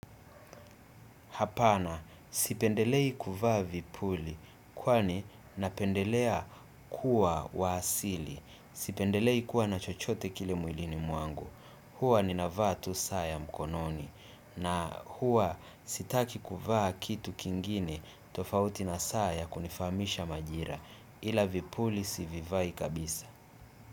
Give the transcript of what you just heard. Hapana sipendelei kuvaa vipuli kwani napendelea kuwa wa asili. Sipendelei kuwa na chochote kile mwilini mwangu. Huwa ninavaa tu saa ya mkononi na huwa sitaki kuvaa kitu kingine tofauti na saa ya kunifahamisha majira. Ila vipuli sivivai kabisa.